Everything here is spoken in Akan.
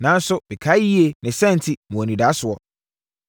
Nanso, mekae yei ne saa enti, mewɔ anidasoɔ.